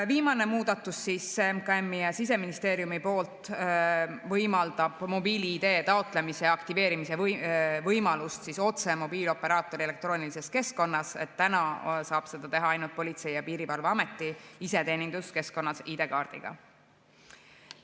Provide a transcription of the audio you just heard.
Viimane muudatus MKM‑i ja Siseministeeriumi poolt võimaldab mobiil‑ID taotlemise ja aktiveerimise võimalust otse mobiilioperaatori elektroonilises keskkonnas, täna saab seda teha ainult Politsei‑ ja Piirivalveameti iseteeninduskeskkonnas ID‑kaardiga.